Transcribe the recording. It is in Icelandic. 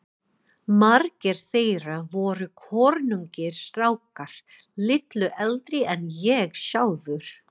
Margir þeirra voru kornungir strákar, litlu eldri en ég sjálfur.